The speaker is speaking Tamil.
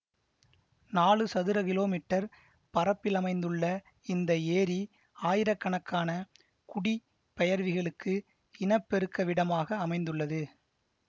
நாலு சதுர கிலோமீட்டர் பரப்பிலமைந்துள்ள இந்த ஏரி ஆயிரக்கணக்கான குடிபெயர்விகளுக்கு இனப்பெருக்கவிடமாக அமைந்துள்ளது